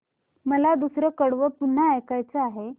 मला दुसरं कडवं पुन्हा ऐकायचं आहे